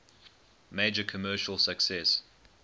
major commercial success